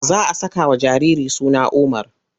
Za a sakawa jariri suna Umar.